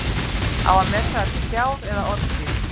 Á að meta það til fjár eða orðstírs?